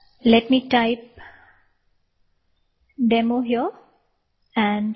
let me type demo here